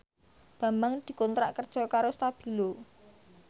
Bambang dikontrak kerja karo Stabilo